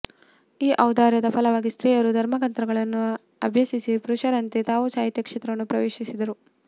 ಈ ಔದಾರ್ಯದ ಫಲವಾಗಿ ಸ್ತ್ರೀಯರು ಧರ್ಮಗ್ರಂಥಗಳನ್ನು ಅಭ್ಯಸಿಸಿ ಪುರುಷರಂತೆ ತಾವೂ ಸಾಹಿತ್ಯ ಕ್ಷೇತ್ರವನ್ನು ಪ್ರವೇಶಿಸಿದರು